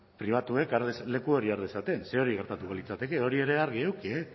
pribatuek leku hori har dezaten ze hori gertatuko litzateke hori ere argi eduki